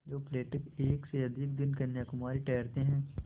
जो पर्यटक एक से अधिक दिन कन्याकुमारी ठहरते हैं